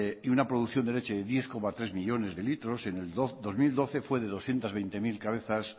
y una producción de leche de diez coma tres millónes de litros en el dos mil doce fue de doscientos veinte mil cabezas